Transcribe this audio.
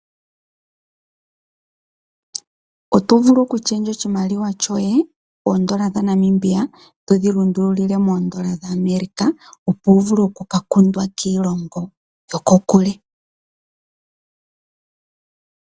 Otovulu oku shendja oshimaliwa shoye oondola dha Namibia todhi lundululile moondola dha America opo wuvule oku kakundwa kiilongo yoko kule.